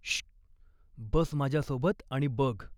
Shoe! बस माझ्यासोबत आणि बघ.